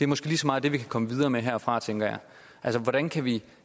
måske lige så meget det vi kan komme videre med her herfra tænker jeg altså hvordan kan vi